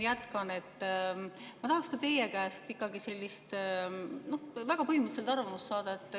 Ma tahaks teie käest ikkagi sellist väga põhimõttelist arvamust saada.